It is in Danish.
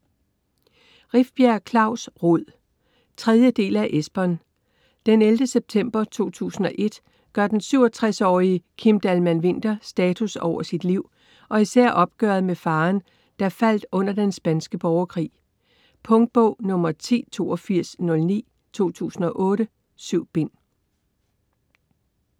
Rifbjerg, Klaus: Rod 3. del af Esbern. Den 11. september 2001 gør den 67-årige Kim Dahlman-Winther status over sit liv og især opgøret med faderen, der faldt under den spanske borgerkrig. Punktbog 108209 2008. 7 bind.